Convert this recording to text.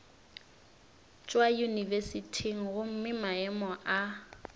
tšwa yunibesithing gomme maemo a